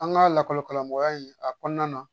An ka lakɔlikaramɔgɔya in a kɔnɔna na